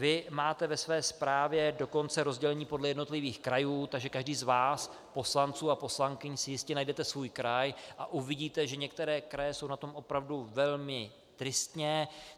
Vy máte ve své zprávě dokonce rozdělení podle jednotlivých krajů, takže každý z vás poslanců a poslankyň si jistě najdete svůj kraj a uvidíte, že některé kraje jsou na tom opravdu velmi tristně.